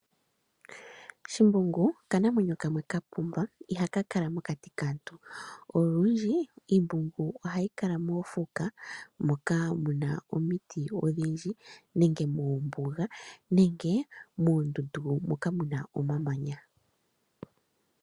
Shimbungu okanamwenyo kamwe ka pumba iha kakala mokati kaantu olundji iimbungu ohayi kala moofuka moka mu na omiti odhindji nenge mombuga nenge moondundu moka mu na omamanya.